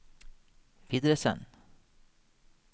videresend